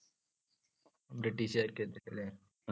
ബ്രിട്ടീഷ്കാർക്കെതിരെ അല്ലെ?